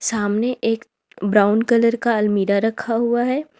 सामने एक brown colour का अलमीरा रखा हुआ है।